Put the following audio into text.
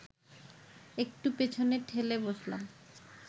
একটু পেছনে ঠেলে বসলাম